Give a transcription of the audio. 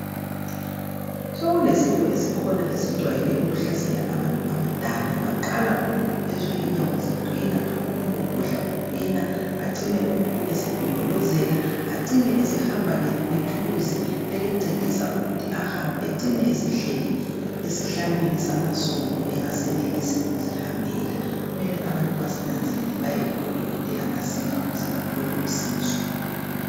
Sokulesifo esikhona esijwayele ukuhlasela abantu abadala , baqala umuntu ezwe inyawo ziqina umgogodla uqina , acine umuntu esedondolozela , acine esehamba ngethuluzi elimcedisa ukuthi ahambe ecine esehleli esihlalweni samasondo engasenelisi ukuzihambela , kumele abantu basinanzelele kubodokotela masinya ukuze bathole usizo